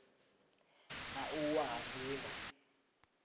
na u wa ha nila